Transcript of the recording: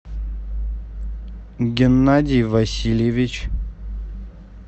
геннадий васильевич